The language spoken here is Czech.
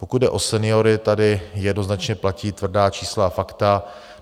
Pokud jde o seniory, tady jednoznačně platí tvrdá čísla a fakta.